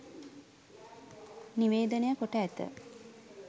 නිවේදනය කොට ඇත